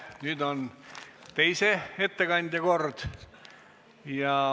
Nüüd on teise ettekandja kord.